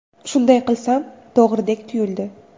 Shunday qilsam to‘g‘ridek tuyuldi.